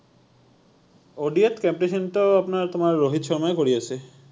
ODI ত captaincy টো আপোনাৰ তোমাৰ ৰোহিত শৰ্মাই কৰি আছে৷